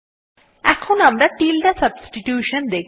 এখন আমরা tilde substitution দেখব